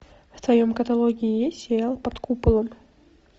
в твоем каталоге есть сериал под куполом